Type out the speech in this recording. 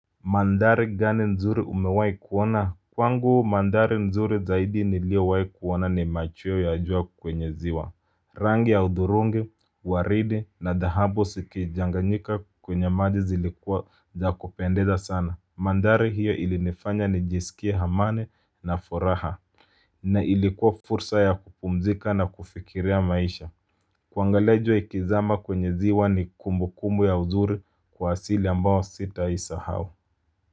Mandhari gani nzuri umewahi kuona. Kwangu mandhari nzuri zaidi niliowahi kuona ni machweo ya jua kwenye ziwa. Rangi ya udhurungi uwaridi na dhahabu zikichanganyika kwenye maji zilikuwa za kupendeza sana. Mandhari hiyo ilinifanya nijisikie amani na furaha. Na ilikuwa fursa ya kupumzika na kufikiria maisha. Kuangalis jua ikizama kwenye ziwa ni kumbukumbu ya uzuri kwa asili ambayo sitawahi sahau.